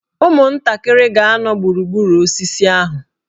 Ụmụntakịrị ga-anọ gburugburu osisi ahụ.